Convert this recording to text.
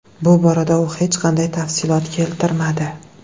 Bu borada u hech qanday tafsilot keltirmadi.